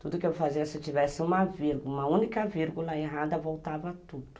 Tudo que eu fazia, se eu tivesse uma vírgu, uma única vírgula errada, voltava tudo.